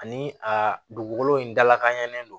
Ani a dugukolo in dalakɛɲɛ don